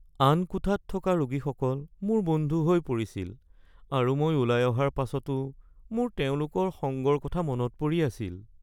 আন কোঠাত থকা ৰোগীসকল মোৰ বন্ধু হৈ পৰিছিল আৰু মই ওলাই অহাৰ পাছতো মোৰ তেওঁলোকৰ সংগৰ কথা মনত পৰি আছিল।